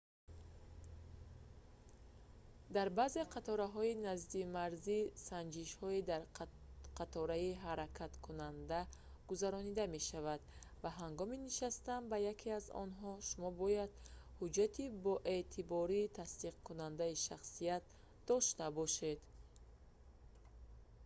дар баъзе қатораҳои наздимарзӣ санҷишҳо дар қатораи ҳаракаткунанда гузаронида мешаванд ва ҳангоми нишастан ба яке аз онҳо шумо бояд ҳуҷҷати боэътибори тасдиқкунандаи шахсият дошта бошед